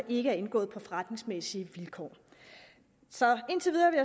ikke er indgået på forretningsmæssige vilkår så indtil videre vil